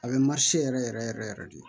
A bɛ yɛrɛ yɛrɛ yɛrɛ yɛrɛ de